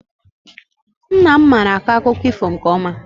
Nna m mara akọ akụkọ ifo nke ọma.